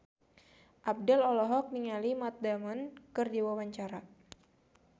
Abdel olohok ningali Matt Damon keur diwawancara